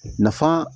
Nafa